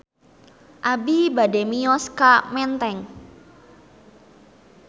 Abi bade mios ka Menteng